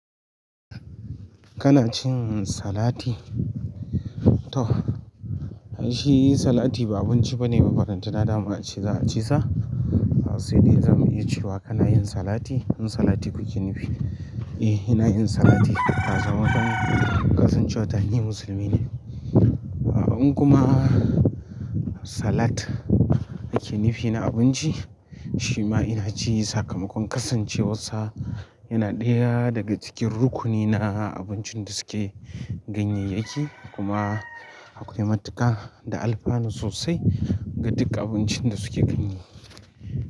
Kana cin salati? To shi salati ba abinci bane makaranta na da mu a ci za a cisa. Sai dai zamu iya cewa kana yin salati, in salati kuke nufi. Eh ina yin salati. Na zamar kasancewa ɗan musulmi ne. An in kuma salat ake nufi na abinci shima ina ci sakamakon kasancewar sa yana ɗaya daga cikin rukuni na abincin da suke ganyayyaki kuma akwai matuƙa da alfano sosai ga duk abincin da suke ganye.